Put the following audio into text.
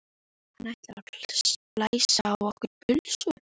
Hann ætlar að splæsa á okkur pulsu!